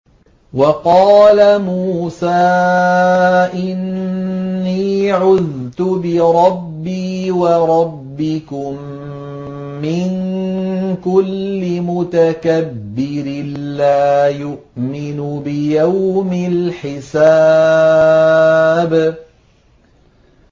وَقَالَ مُوسَىٰ إِنِّي عُذْتُ بِرَبِّي وَرَبِّكُم مِّن كُلِّ مُتَكَبِّرٍ لَّا يُؤْمِنُ بِيَوْمِ الْحِسَابِ